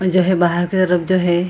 जो हे बहार के तरफ जो है।